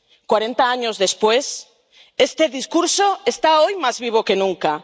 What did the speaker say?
Cuarenta años después, este discurso está hoy más vivo que nunca.